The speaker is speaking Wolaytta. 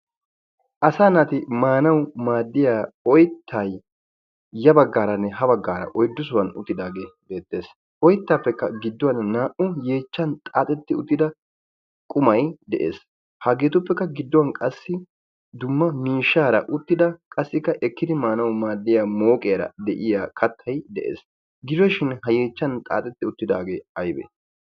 asa naati maanau maaddiya oyttai ya baggaaranne ha baggaara oiddusuwan uttidaagee beettees oyttaappekka gidduwann naa'u yeechchan xaaxetti uttida qumai de'ees haageetuppekka gidduwan qassi dumma miishshaara uttida qassikka ekkidi maanau maaddiya mooqiyaara de'iya kattai de'ees. giroshin ha yeechchan xaaxetti uttidaagee aybee?